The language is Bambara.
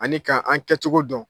Ani ka an kɛcogo dɔn